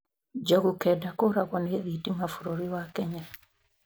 Njogu kenda kũragwo nĩ thitima bũrũri wa Kenya